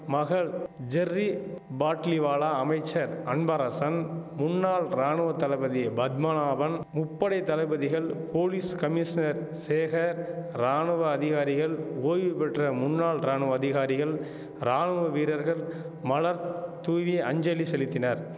மகள் ஜெர்ரி பாட்லிவாலா அமைச்சர் அன்பரசன் முன்னாள் ராணுவ தளபதி பத்மநாபன் முப்படை தளபதிகள் போலீஸ் கமிஷினர் சேகர் ராணுவ அதிகாரிகள் ஓய்வு பெற்ற முன்னாள் ராணுவ அதிகாரிகள் ராணுவ வீரர்கள் மலர் தூவி அஞ்சலி செலித்தினர்